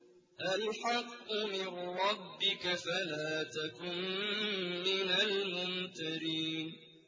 الْحَقُّ مِن رَّبِّكَ فَلَا تَكُن مِّنَ الْمُمْتَرِينَ